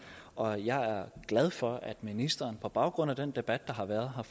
og jeg er glad for at ministeren på baggrund af den debat der har været